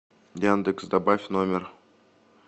яндекс добавь номер